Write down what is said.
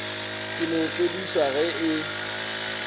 ka no fedišwa ge e